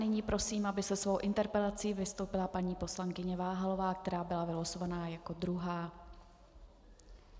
Nyní prosím, aby se svou interpelací vystoupila paní poslankyně Váhalová, která byla vylosovaná jako druhá.